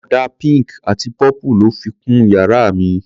Ọ̀dà pink àti purple lọ́ fi kun yàrá mi.